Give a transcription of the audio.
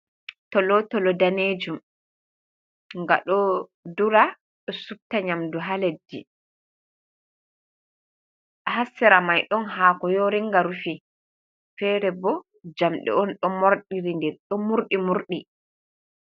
Tolotolo danejum nga ɗo dura ɗo supta nyamdu ha leddi. Ha sera mai ɗon haako yoringa rufi, fere bo jamɗe on ɗon mordiri ɗo murɗi murɗi.